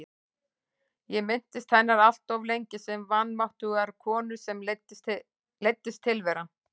Ég minntist hennar alltof lengi sem vanmáttugrar konu sem leiddist tilveran.